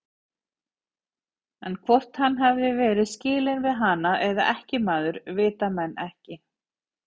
En hvort hann hafi verið skilinn við hana eða ekkjumaður, vita menn ekki.